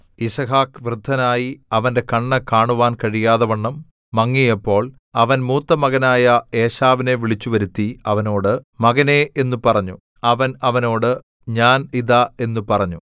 യിസ്ഹാക്ക് വൃദ്ധനായി അവന്റെ കണ്ണ് കാണുവാൻ കഴിയാതവണ്ണം മങ്ങിയപ്പോൾ അവൻ മൂത്തമകനായ ഏശാവിനെ വിളിച്ച് വരുത്തി അവനോട് മകനേ എന്നു പറഞ്ഞു അവൻ അവനോട് ഞാൻ ഇതാ എന്നു പറഞ്ഞു